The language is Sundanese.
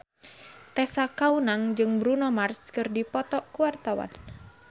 Tessa Kaunang jeung Bruno Mars keur dipoto ku wartawan